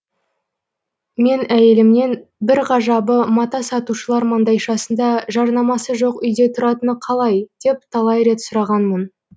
мен әйелімнен бір ғажабы мата сатушылар маңдайшасында жарнамасы жоқ үйде тұратыны қалай деп талай рет сұрағанмын